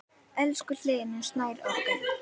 Elsku Hlynur Snær okkar.